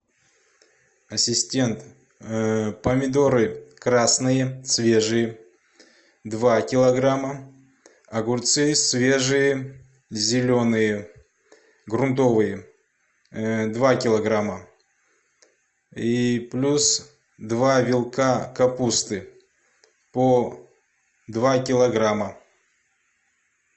ассистент помидоры красные свежие два килограмма огурцы свежие зеленые грунтовые два килограмма и плюс два вилка капусты по два килограмма